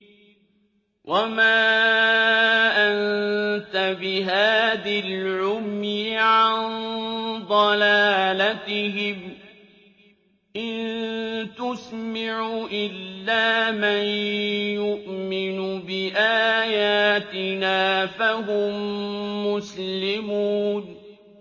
وَمَا أَنتَ بِهَادِي الْعُمْيِ عَن ضَلَالَتِهِمْ ۖ إِن تُسْمِعُ إِلَّا مَن يُؤْمِنُ بِآيَاتِنَا فَهُم مُّسْلِمُونَ